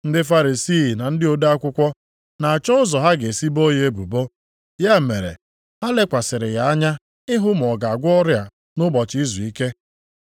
Ndị Farisii na ndị ode akwụkwọ na-achọ ụzọ ha ga-esi boo ya ebubo, ya mere ha lekwasịrị ya anya ịhụ ma ọ ga-agwọ ọrịa nʼụbọchị izuike.